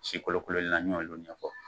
Si kolokololen na n y'olu ɲɛfɔ.